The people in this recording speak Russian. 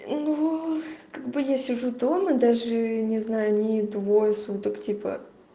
ну как бы я сижу дома даже не знаю ни двое суток типа